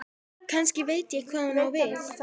Kannski veit ég hvað hún á við.